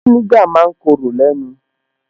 Fínígà ma ń korò lẹ́nu